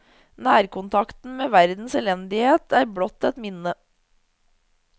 Nærkontakten med verdens elendighet er blott et minne.